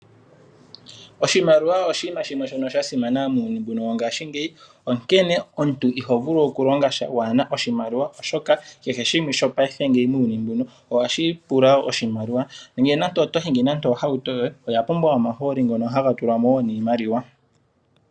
Oshimaliwa oshiima shino sha simana muuyuni mbino wongaashingeyi, onkene omuntu iho vulu okulonga sha waa na oshimaliwa oshoka kehe shimwe shopayife ngeyi muuyuni mbuno ohashi pula oshimaliwa. Onkene nando oto hingi ohauto yoye oya pumbwa omahooli ngono haga tulwa mo wo niimaliwa.